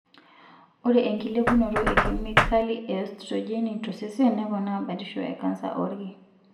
Ore enkilepunoto e kemikali e estrojeni tosesen neponaa batisho e kansa oolki.